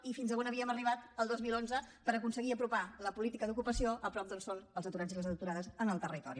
i fins on havíem arribat el dos mil onze per aconseguir apropar la política d’ocupació a prop d’on són els aturats i les aturades en el territori